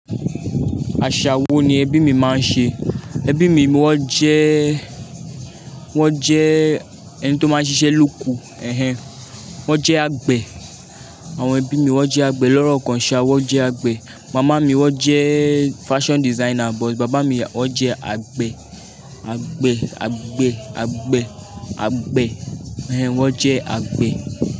Àṣà wo ni ẹbí mi máa ń ṣe? Ẹbí mi wọ́n jẹ́, wọ́n jẹ́ ẹni tó máa ń ṣiṣẹ́ lóko. Ehẹn, wọ́n jẹ́ àgbẹ̀. Àwọn ẹbí mi wọ́n jẹ́ àgbẹ̀ lọ́rọ̀kọ ńṣa, wọ́n jẹ́ àgbẹ̀. Màmá mi wọ́n jẹ́ fashion designer, but bàbá mi wọ́n jẹ́ àgbẹ̀, àgbẹ̀, àgbẹ̀, àgbẹ̀, àgbẹ̀. Ehẹn, wọ́n jẹ́ àgbẹ̀.